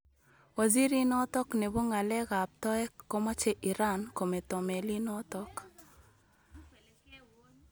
Waziri inotok nebo ng'alekab toek komache Iran kometo melinotok